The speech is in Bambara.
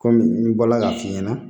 Kɔmi n bɔla k'a f'i ɲɛna